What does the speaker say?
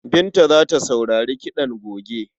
Binta za ta sauri kiɗan goge.